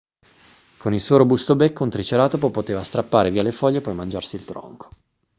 con il suo robusto becco un triceratopo poteva strappare via le foglie e poi mangiarsi il tronco